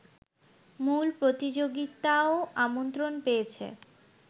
মূল প্রতিযোগিতায়ও আমন্ত্রণ পেয়েছে